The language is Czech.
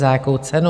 Za jakou cenu?